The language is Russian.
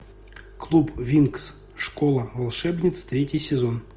клуб винкс школа волшебниц третий сезон